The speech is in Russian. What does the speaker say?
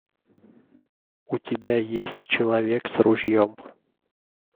у тебя есть человек с ружьем